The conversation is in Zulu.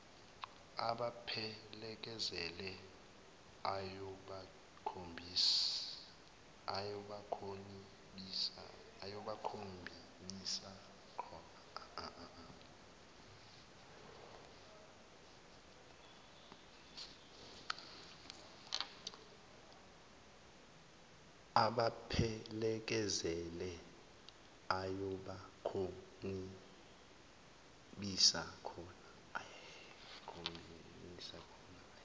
abaphelekezele ayobakhonibisa koma